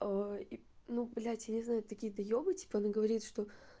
о и ну блядь я не знаю такие доёбы типа она говорит что